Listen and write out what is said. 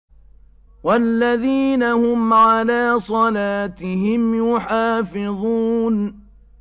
وَالَّذِينَ هُمْ عَلَىٰ صَلَاتِهِمْ يُحَافِظُونَ